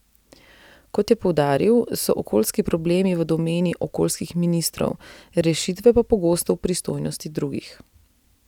Kot je poudaril, so okoljski problemi v domeni okoljskih ministrov, rešitve pa pogosto v pristojnosti drugih.